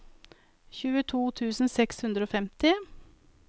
tjueto tusen seks hundre og femti